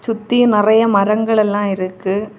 சுத்தி நெறைய மரங்கள் எல்லா இருக்கு.